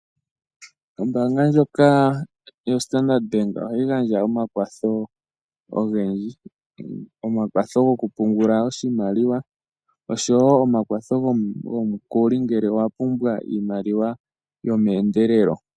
Ombaanga ndjoko yo standard bank ohayi gandja omakwatho ogendji, omakwatho goku pungula oshimwali oshowo omakwatho goshimaliwa, omukuli ngele owa pumbwa iimaliwa yomeendelelo